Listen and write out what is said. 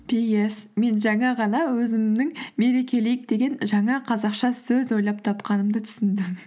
пи эс мен жаңа ғана өзімнің мерекелейік деген жаңа қазақша сөз ойлап тапқанымды түсіндім